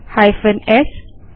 hyphen S paste करें